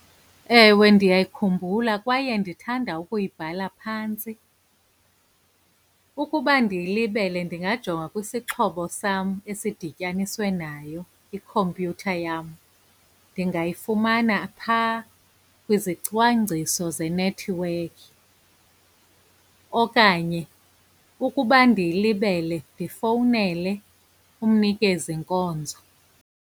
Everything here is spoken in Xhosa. Ewe, ndiyayikhumbula kwaye ndithanda ukuyibhala phantsi. Ukuba ndiyilibele ndingajonga kwisixhobo sam esidityaniswe nayo, ikhompyutha yam. Ndingayifumana phaa kwizicwangciso zenethiwekhi, okanye ukuba ndiyilibele ndifowunele umnikezi nkonzo.